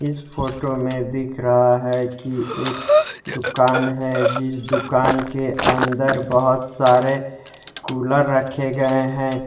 इस फोटो में दिख रहा है कि एक दुकान है जिस दुकान के अंदर बहुत सारे कूलर रखे गए हैं।